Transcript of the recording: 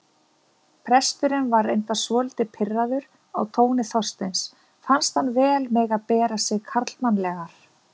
Presturinn var reyndar svolítið pirraður á tóni Þorsteins, fannst hann vel mega bera sig karlmannlegar.